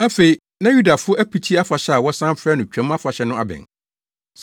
Afei, na Yudafo Apiti Afahyɛ a wɔsan frɛ no Twam Afahyɛ no abɛn.